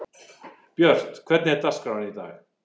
Björt, hvernig er dagskráin í dag?